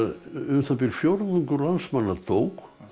um það bil fjórðungur landsmanna dó